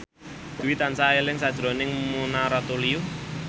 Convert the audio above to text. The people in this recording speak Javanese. Dwi tansah eling sakjroning Mona Ratuliu